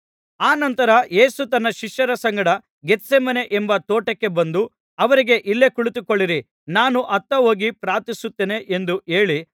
ಅನಂತರ ಯೇಸು ತನ್ನ ಶಿಷ್ಯರ ಸಂಗಡ ಗೆತ್ಸೇಮನೆ ಎಂಬ ತೋಟಕ್ಕೆ ಬಂದು ಅವರಿಗೆ ಇಲ್ಲೇ ಕುಳಿತುಕೊಳ್ಳಿರಿ ನಾನು ಅತ್ತ ಹೋಗಿ ಪ್ರಾರ್ಥಿಸುತ್ತೇನೆ ಎಂದು ಹೇಳಿ